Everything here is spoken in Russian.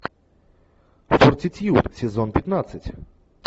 фортитьюд сезон пятнадцать